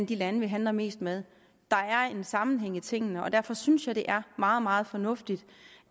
de lande vi handler mest med der er en sammenhæng i tingene og derfor synes jeg at det er meget meget fornuftigt